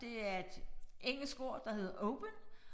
Det er et engelsk ord der hedder open